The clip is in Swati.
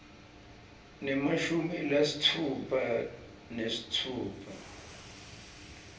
nemashumi lasitfupha nesitfupha